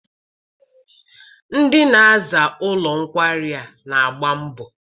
Ndị na-aza ụlọ nkwari a n'agba mbọ.